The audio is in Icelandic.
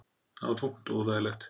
Það var þungt og óþægilegt.